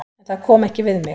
En það kom ekki við mig.